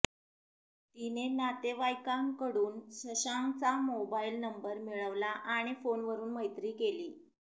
तिने नातेवाईकांकडून शशांक चा मोबाईल नंबर मिळवला आणि फोन वरून मैत्री केली